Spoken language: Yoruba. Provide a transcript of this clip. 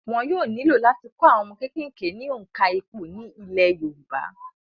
Wọn yóò nílò láti kọ́ àwọn ọmọ kékèké ní òǹkà ìpò ní ilẹ̀ yorùbá